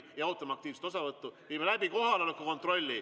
Head ametikaaslased, viime läbi kohaloleku kontrolli.